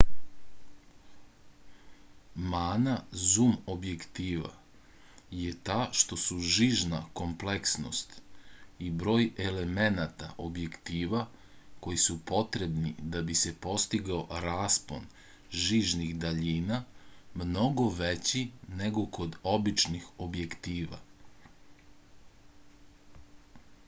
mana zum objektiva je ta što su žižna kompleksnost i broj elemenata objektiva koji su potrebni da bi se postigao raspon žižnih daljina mnogo veći nego kod običnih objektiva